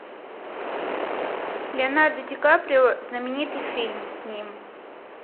леонардо ди каприо знаменитый фильм с ним